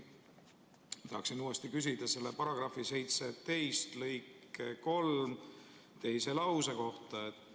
Ma tahaksin uuesti küsida selle § 17 lõike 3 teise lause kohta.